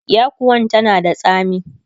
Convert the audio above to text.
yakuwan tana da tsami